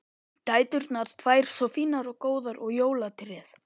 Dæturnar tvær svo fínar og góðar og jólatréð!